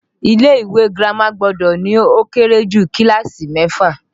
Ilé ìwé girama gbọ́dọ̀ ní ó kéré jù kíláàsì mẹ́fà